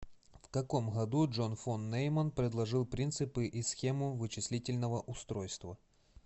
в каком году джон фон нейман предложил принципы и схему вычислительного устройства